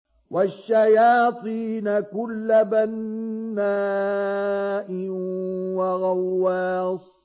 وَالشَّيَاطِينَ كُلَّ بَنَّاءٍ وَغَوَّاصٍ